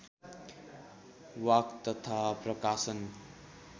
walk तथा प्रकाशन